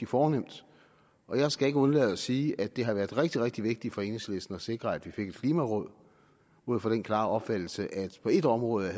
fornemt og jeg skal ikke undlade at sige at det har været rigtig rigtig vigtigt for enhedslisten at sikre at vi fik et klimaråd ud fra den klare opfattelse at på et område